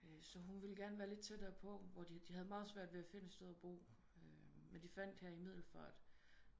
Så hun ville gerne være lidt tættere på hvor de havde meget svært ved at finde et sted at bo men de fandt her i Middelfart